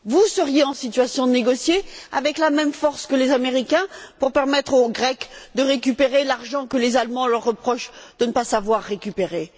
Seriez vous en situation de négocier, avec la même force que les Américains, pour permettre aux Grecs de récupérer l'argent que les Allemands leur reprochent de ne pas savoir récupérer?